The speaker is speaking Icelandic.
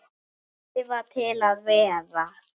Skrifa til að vera?